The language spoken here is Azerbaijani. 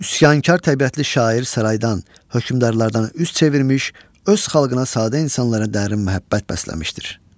Üsyankar təbiətli şair saraydan, hökmdarlardan üz çevirmiş, öz xalqına sadə insanlara dərin məhəbbət bəsləmişdir.